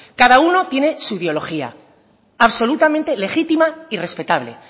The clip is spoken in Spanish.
cada uno tiene su biología absolutamente legítima y respetable